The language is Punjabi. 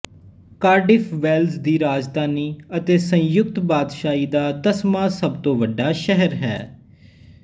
ਕਾਰਡਿਫ਼ ਵੇਲਜ਼ ਦੀ ਰਾਜਧਾਨੀ ਅਤੇ ਸੰਯੁਕਤ ਬਾਦਸ਼ਾਹੀ ਦਾ ਦਸਵਾਂ ਸਭ ਤੋਂ ਵੱਡਾ ਸ਼ਹਿਰ ਹੈ